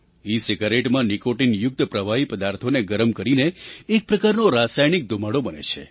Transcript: ઇસિગારેટમાં નિકૉટિનયુક્ત પ્રવાહી પદાર્થોને ગરમ કરીને એક પ્રકારનો રાસાયણિક ધૂમાડો બને છે